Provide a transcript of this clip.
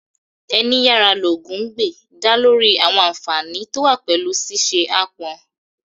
Ẹni yára ní lógun gbè' ń dá lórí àwọn ànfààní tó wà pẹ̀lú ṣíṣe aápọn